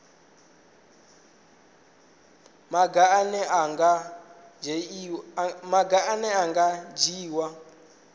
maga ane a nga dzhiiwa